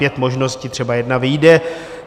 Pět možností, třeba jedna vyjde.